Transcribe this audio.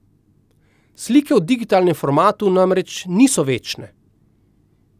Slike v digitalnem formatu namreč niso večne.